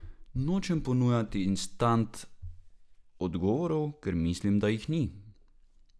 Nočem ponujati instant odgovorov, ker mislim, da jih ni.